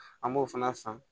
An b'o fana san